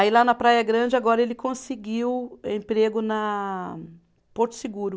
Aí lá na Praia Grande agora ele conseguiu emprego na Porto Seguro.